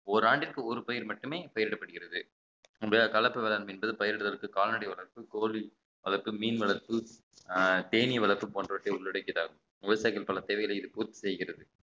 ஓராண்டிற்கு ஒரு பயிர் மட்டுமே பெயரிடப்படுகிறது கலப்பு வேளாண்மை என்பது பயிரிடுவதற்கு கால்நடை வளர்ப்பு கோழி வளர்ப்பு மீன் வளர்ப்பு அஹ் தேனீ வளர்ப்பு போன்றவற்றை உள்ளடக்கியதாகும் விவசாயிகள் பல தேவைகளை இது பூர்த்தி செய்கிறது